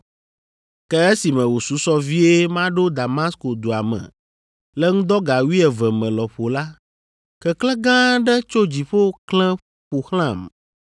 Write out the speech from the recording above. “Ke esime wòsusɔ vie maɖo Damasko dua me, le ŋdɔ ga wuieve me lɔƒo la, keklẽ gã aɖe tso dziƒo klẽ ƒo xlãm.